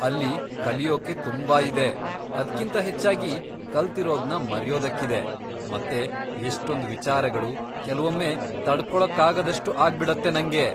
ಅಲ್ಲಿ ಕಲಿಯೋಕೆ ತುಂಬಾ ಇದೆ, ಅದ್ಕಿಂತ ಹೆಚ್ಚಾಗಿ ಕಲ್ತಿರೋದ್ನ ಮರೆಯೋದಕ್ಕಿದೆ, ಮತ್ತೆ ಎಷ್ಟೊಂದ್ ವಿಚಾರಗಳು, ಕೆಲ್ವೊಮ್ಮೆ ತಡ್ಕೊಳಕ್ಕಾಗದಷ್ಟು ಆಗ್ಬಿಡತ್ತೆ ನಂಗೆ.